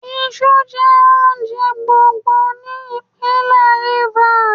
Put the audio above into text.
Iṣu jẹ́ oúnjẹ gbòǹgbò ní ìpínlẹ̀ Rivers.